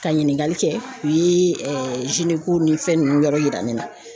Ka ɲininkali kɛ u ye ni fɛn ninnu yɔrɔ yira ne na.